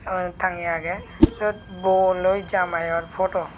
aro tangeyi agey sut bor loi jameyor photo.